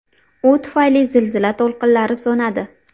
U tufayli zilzila to‘lqinlari so‘nadi.